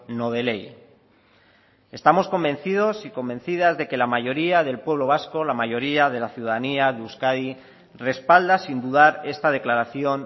no de ley estamos convencidos y convencidas de que la mayoría del pueblo vasco la mayoría de la ciudadanía de euskadi respalda sin dudar esta declaración